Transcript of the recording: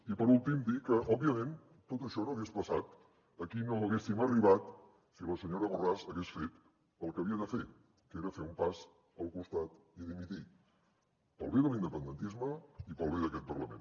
i per últim dir que òbviament tot això no hagués passat aquí no haguéssim arribat si la senyora borràs hagués fet el que havia de fer que era fer un pas al costat i dimitir pel bé de l’independentisme i pel bé d’aquest parlament